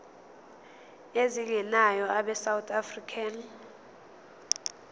ezingenayo abesouth african